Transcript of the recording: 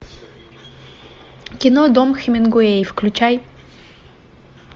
кино дом хименгуэй включай